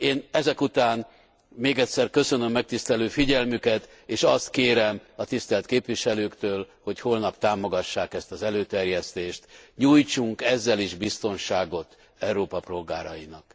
Én ezek után még egyszer köszönöm megtisztelő figyelmüket és azt kérem a tisztelt képviselőktől, hogy holnap támogassák ezt az előterjesztést. Nyújtsunk ezzel is biztonságot Európa polgárainak!